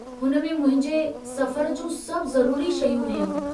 हुन में मुंहिंजे सफ़र जूं सभु ज़रूरी शयूं हुयूं।